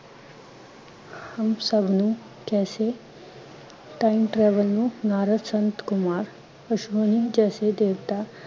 ਹਮ ਸਭ ਨੁੰ ਕੈਸੇ time travel ਨੂੰ ਨਾਰਦ ਸੰਤ ਕੁਮਾਰ ਬਿਸ਼ਨੋਈ ਜੈਸੇ ਦੇਵਤਾ